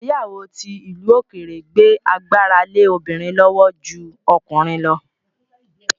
Ìgbéyàwó ti ìlú òkèèrè gbé agbára lé obìnrin lọ́wọ́ ju ọkùnrin lọ